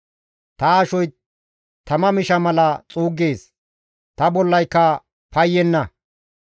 Ta ashoy tama misha mala xuuggees; ta bollayka payyenna.